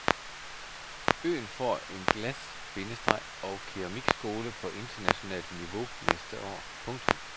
Øen får en glas- bindestreg og keramikskole på internationalt niveau næste år. punktum